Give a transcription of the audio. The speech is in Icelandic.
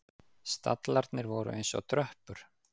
Stallarnir voru eins og tröppur.